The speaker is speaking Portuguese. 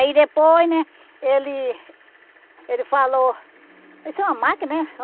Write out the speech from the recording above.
Aí depois, né, ele ele falou... Isso é uma máquina, é?